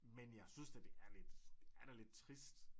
Men jeg synes da det er lidt det er da lidt trist